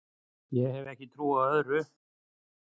Ég hef ekki trú á öðru